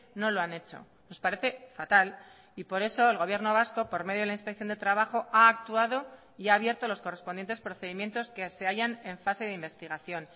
no lo han hecho nos parece fatal y por eso el gobierno vasco por medio de la inspección de trabajo ha actuado y ha abierto los correspondientes procedimientos que se hallan en fase de investigación